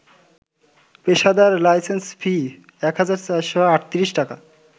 পেশাদার license fee ১,৪৩৮ টাকা